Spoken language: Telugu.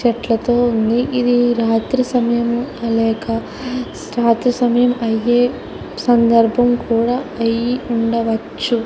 చెట్లుతో ఉంది ఇది రాత్రి సమయంలో తీసిన లేదా రాత్రి అయ్యే సందర్భంలో అయ్యి ఉండవచ్చు.